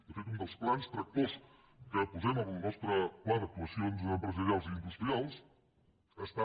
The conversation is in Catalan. de fet un dels plans tractors que posem en el nostre pla d’actuacions empresarials i industrials està